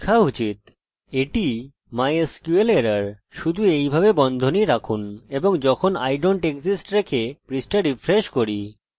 আমরা রিফ্রেশ করতে পারি এবং এটি সময় নিচ্ছে